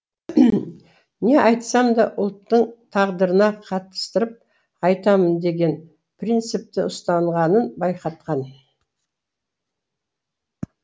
не айтсам да ұлттың тағдырына қатыстырып айтамын деген принципті ұстанғанын байқатқан